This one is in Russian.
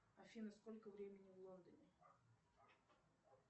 афина сколько времени в лондоне